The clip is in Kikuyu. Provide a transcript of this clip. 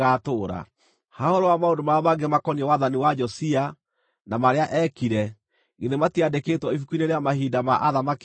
Ha ũhoro wa maũndũ marĩa mangĩ makoniĩ wathani wa Josia, na marĩa eekire, githĩ matiandĩkĩtwo ibuku-inĩ rĩa mahinda ma athamaki a Juda?